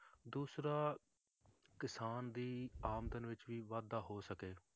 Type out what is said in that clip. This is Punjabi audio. ਦੂਸਰਾ ਕਿਸਾਨ ਦੀ ਆਮਦਨ ਵਿੱਚ ਵੀ ਵਾਧਾ ਹੋ ਸਕੇ।